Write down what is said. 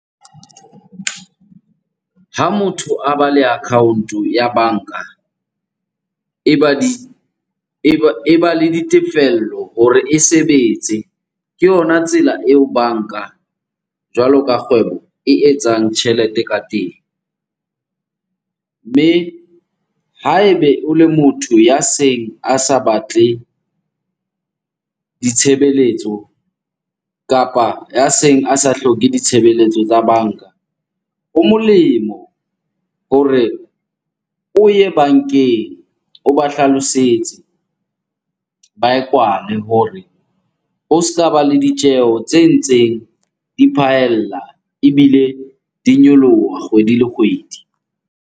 Ha motho a ba le account-o ya banka, e ba di, e ba le ditefello hore e sebetse. Ke yona tsela eo banka jwalo ka kgwebo e etsang tjhelete ka teng. Mme ha ebe o le motho ya seng a sa batle ditshebeletso kapa ya seng a sa hloke ditshebeletso tsa banka. Ho molemo hore o ye bankeng, o ba hlalosetse, ba e kwale hore o ska ba le ditjeho tse ntseng di phaella ebile di nyoloha kgwedi le kgwedi.